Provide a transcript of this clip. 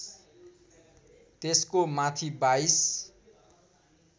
त्यसको माथि बाइस